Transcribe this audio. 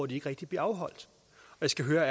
ikke rigtig bliver afholdt jeg skal høre